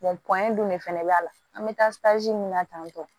dun de fɛnɛ b'a la an be taa min na tan